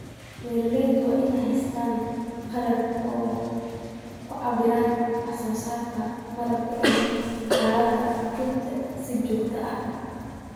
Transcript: Beeralaydu waa inay haystaan ??qalab ay ku cabbiraan wax soo saarka malabka iyo xaaladda rugta si joogto ah.